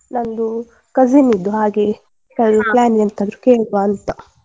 ನಂದು cousin ಇದ್ದು ಹಾಗೆ plan ಎಂತಾದ್ರೂ ಕೇಳುವಾ ಅಂತ.